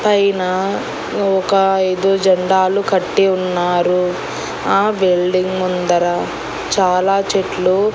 పైన ఒక ఐదు జెండాలు కట్టి ఉన్నారు ఆ బిల్డింగ్ ముందర చాలా చెట్లు--